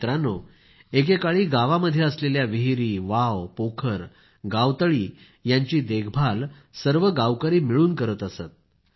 मित्रांनो एके काळी गावामध्ये असलेल्या विहिरी वाव पोखर गावतळी यांची देखभाल सर्व गावकरी मिळून करीत असत